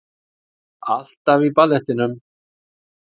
Alltaf í ballettinum